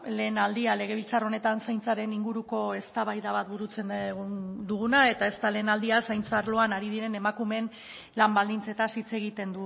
lehen aldia legebiltzar honetan zaintzaren inguruko eztabaida bat burutzen duguna eta ez da lehen aldia zaintza arloan ari diren emakumeen lan baldintzetaz hitz egiten